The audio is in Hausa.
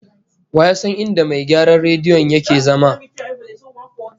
Wa ya san inda mai gyaran rediyon yake zama?